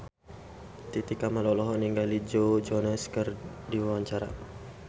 Titi Kamal olohok ningali Joe Jonas keur diwawancara